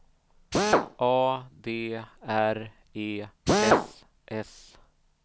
A D R E S S